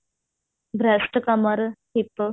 breast ਕਮਰ hip